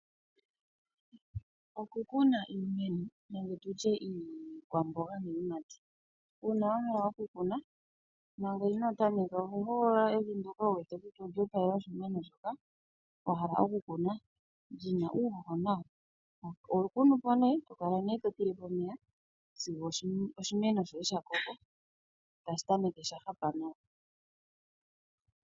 Oku kuna iikwamboga niiyimati, uuna wahala oku kuna tango oho hogolola evi ndyoka wuwete kutya otali opalele oshimeno shoka wahala okukuna lyina uuhoho nawa. Oho kunu po tokala totilepo omeya sigo shakoko etashi tameke sha hapa nawa.